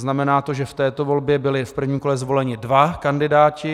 Znamená to, že v této volbě byli v prvním kole zvoleni dva kandidáti.